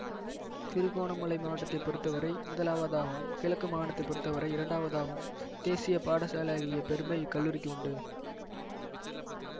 திருக்கோணமலை மாவட்டத்தை பொறுத்தவரை முதலாவதாகவும் கிழக்கு மாகாணத்தைப் பொறுத்தவரை இரண்டாவதாகவும் தேசிய பாடசாலையாகிய பெருமை இக் கல்லூரிக்கு உண்டு